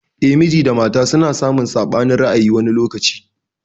Eh, miji da mafa suna samun saɓanin ra'ayi wani lokacin.